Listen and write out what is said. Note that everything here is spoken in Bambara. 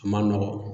A ma nɔgɔn